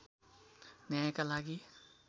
न्यायका लागि